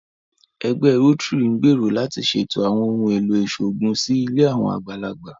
Ẹgbẹ́ Rótírì ń gbèrò láti ṣètọrẹ àwọn ohùn èlò ìṣòògùn sí ilé àwọn àgbàlagbà